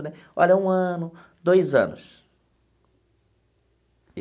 Olha, um ano, dois anos.